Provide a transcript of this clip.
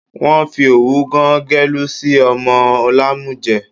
Wọ́n fi òwú gán gẹ̀lú sí ọmọ lámújẹ̀